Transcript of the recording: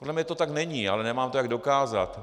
Podle mne to tak není, ale nemám to jak dokázat.